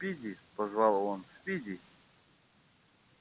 спиди позвал он спиди